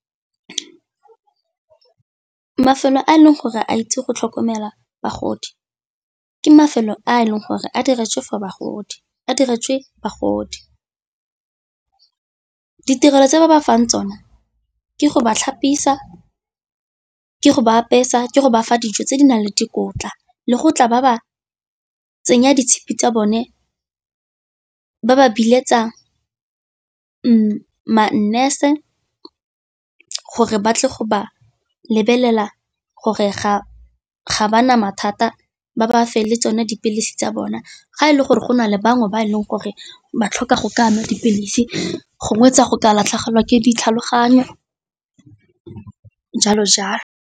Mafelo a e leng gore a itse go tlhokomela bagodi ke mafelo a e leng gore a diretswe bagodi, ditirelo tse ba ba fang tsona ke go ba tlhapisiwa, ke go ba apesa, ke go ba fa dijo tse di naleng dikotla le go tla ba ba tsenya ditshipi tsa bone ba ba biletsa ma-nurse gore ba tle go ba lebelela gore ga ba na mathata ba ba fe le tsone dipilisi tsa bona. Ga e le gore go na le bangwe ba e leng gore ba tlhoka go ka nwa dipilisi gongwe tsa go ka latlhegelwa ke ditlhaloganyo jalo jalo.